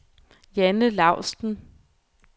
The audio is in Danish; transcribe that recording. Janne Laustsen